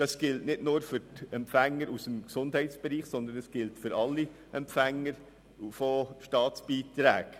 Das gilt nicht nur für die Empfänger aus dem Gesundheitsbereich, sondern für alle Empfänger von Staatsbeiträgen.